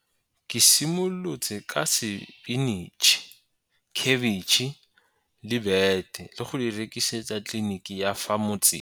Ke simolotse ka sepinitšhi, khebetšhe le bete le go di rekisetsa kliniki ya fa motseng.